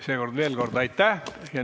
Seega veel kord aitäh!